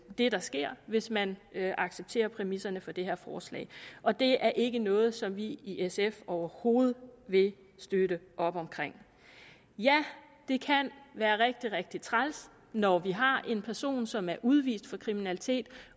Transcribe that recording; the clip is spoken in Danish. det der sker hvis man accepterer præmisserne for det her forslag og det er ikke noget som vi i sf overhovedet vil støtte op om ja det kan være rigtig rigtig træls når vi har en person som er udvist for kriminalitet